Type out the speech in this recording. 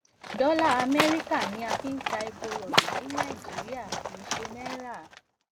dola amerika ni a fi n ta epo robi ni naijiria kii ṣe naira